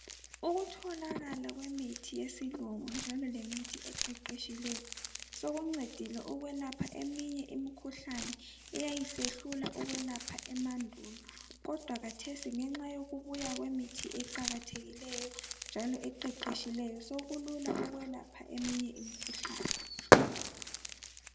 Ukutholakala kwemi yesilungu njalo lemithi eqeqetshileyo sokuncedile ukwelapha eminye imikhuhlane eyayisehlula ukwelapha emandulo. Kodwa khathesi ngenxa kubuya kwemithi eqakathekileyo njalo eqeqetshileyo sokulula eminye imikhuhlane